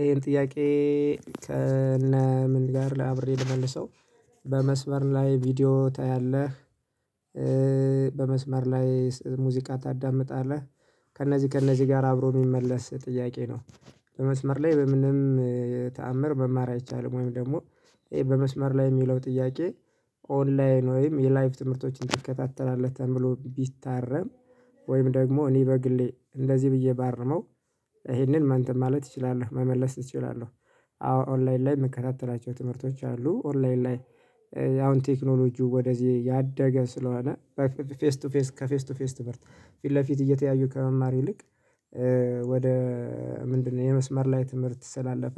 ይሄን ጥያቄ ከነ ምን ጋር አብሬ ልመልሰው በመስመር ላይ ቪዲዮ ታያለህ? በመስመር ላይ ሙዚቃ ታዳምጣለህ? ከእነዚህ ከእነዚህ ጋር አብሮ የሚመለስ ጥያቄ ነው። በመስመር ላይ በምንም ተአምር መማር አይቻልም። ወይም ደግሞ ይሄ በመስመር ላይ የሚለው ጥያቄ ኦንላይን ወይም የላይቭ ትምህርቶችን ትከታተላለህ ተብሎ ቢታረም። ወይም ደግሞ እኔ በግሌ እንደዚህ ብዬ ባርመው ይሄንን አንተም ማለት እችላለሁ መመለስ እችላለሁ። አዎ ኦንላይን ላይ የምከታተላቸው ትምህርቶች አሉ ኦንላይን ላይ። አሁን ቴክኖሎጂው ወደዚህ ያደገ ስለሆነ ከፌስ ቱ ፌስ ከፌስ ቱ ፌስ ትምህርት ፊት ለፊት እየተያዩ ከመማር ይልቅ። ወደ ምንድነው የመስመር ላይ ትምህርት ስላለፈ።